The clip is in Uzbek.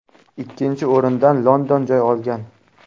Ikkinchi o‘rindan London joy olgan.